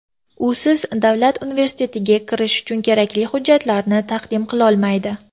Usiz davlat universitetga kirish uchun kerakli hujjatlarni taqdim qilolmaydi.